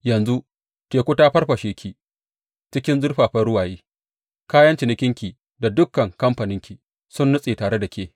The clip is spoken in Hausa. Yanzu teku ta farfashe ki cikin zurfafan ruwaye; kayan cinikinki da dukan kamfaninki sun nutse tare da ke.